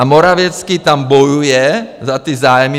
A Morawiecki tam bojuje za ty zájmy.